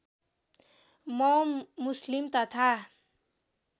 म मुस्लिम तथा